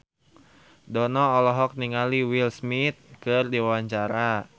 Dono olohok ningali Will Smith keur diwawancara